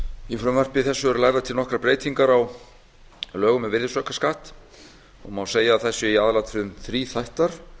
í frumvarpi þessu eru lagðar til nokkrar breytingar á lögum um virðisaukaskatt og má segja að þær séu í meginatriðum þríþættar í